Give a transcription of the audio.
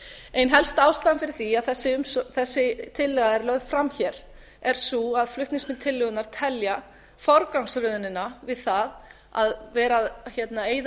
ein helsta ástæðan fyrir því að þessi tillaga er lögð fram hér er sú að flutningsmenn tillögunnar telja forgangsröðunina við það að vera að eyða